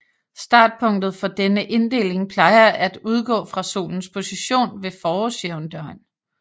Startpunktet for denne inddeling plejer at udgå fra Solens position ved forårsjævndøgn